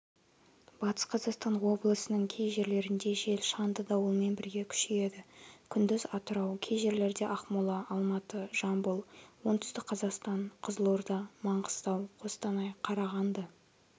батыс-қазақстан облысының кей жерлерінде жел шаңды дауылмен бірге күшейеді күндіз атырау кей жерлерде ақмола алматы жамбыл оңтүстік-қазақстан кызылорда маңғыстау қостанай қарағанды